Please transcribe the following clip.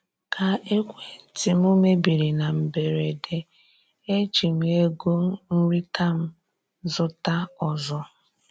Ka ekwentị m mebiri na mberede, eji m ego nrita m zụta ọzọ.